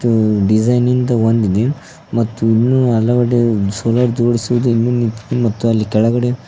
ಉ design ನಿಂದ ಒಂದಿದೆ ಮತ್ತು ಇನ್ನು ಹಲವು ಸೋಲಾರ್ ಜೋಡಿಸುವುದು ಇನ್ನು ಮಿಕ್ಕಿ ಮತ್ತು ಅಲ್ಲಿ ಕೆಳಗಡೆ--